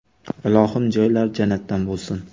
Ilohim, joylari jannatdan bo‘lsin”.